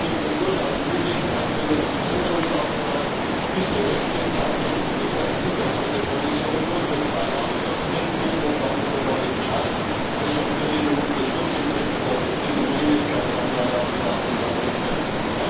Da gibt es durchaus Möglichkeiten, über einen Änderungsantrag diese Rechte zeitlich zu begrenzen, so dass wir der Kommission nur für zwei Jahre das Recht geben und dann wieder neu entscheiden. Deshalb würde ich um Unterstützung bitten, dass wir diesen Dringlichkeitsantrag auf die Tagesordnung setzen.